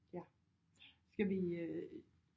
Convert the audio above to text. Ja skal vi øh